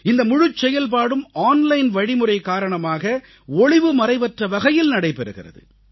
இந்த முழுச் செயல்பாடும் ஆன்லைன் வழிமுறை காரணமாக ஒளிவுமறைவற்ற வகையில் நடைபெறுகிறது